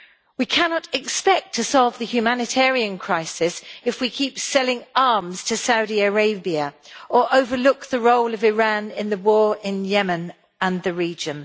We cannot expect to solve the humanitarian crisis if we keep selling arms to Saudi Arabia or overlook the role of Iran in the war in Yemen and the region.